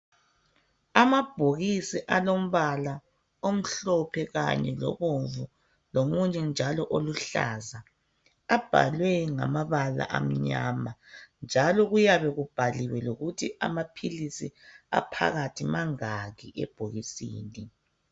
Amabhokisi alombala omhlophe kanye lobomvu lomunye njalo oluhlaza abhalwe ngamabala amnyama njalo kuyabe kubhaliwe lokuthi amaphilisi aphakathi mangaki ebhokisini